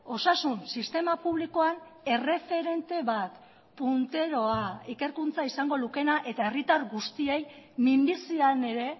osasun sistema publikoan erreferente bat punteroa ikerkuntza izango lukeena eta herritar guztiei minbizian ere